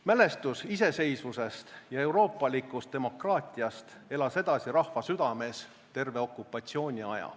Mälestus iseseisvusest ja euroopalikust demokraatiast elas edasi rahva südames terve okupatsiooni aja.